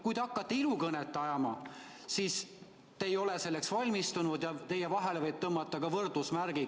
Kui te hakkate ilukõnet pidama, siis te ei ole selleks valmistunud ning teie ja Keskerakonna vahele võib tõmmata võrdusmärgi.